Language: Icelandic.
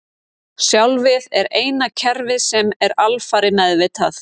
Sjálfið er eina kerfið sem er alfarið meðvitað.